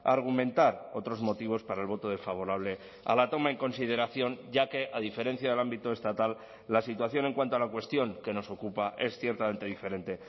argumentar otros motivos para el voto desfavorable a la toma en consideración ya que a diferencia del ámbito estatal la situación en cuanto a la cuestión que nos ocupa es ciertamente diferente